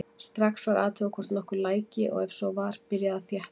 Strax var athugað hvort nokkuð læki og ef svo var var byrjað að þétta.